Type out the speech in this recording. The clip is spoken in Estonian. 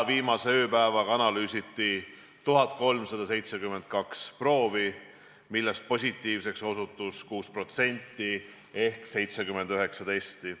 Viimase ööpäevaga analüüsiti 1372 proovi, millest positiivseks osutus 6% ehk 79 testi.